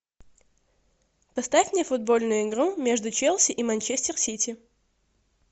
поставь мне футбольную игру между челси и манчестер сити